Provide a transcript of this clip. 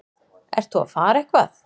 Ert þú að fara eitthvað?